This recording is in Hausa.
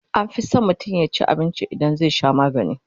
anfi San mutum yaci abinci idan zai Sha maganii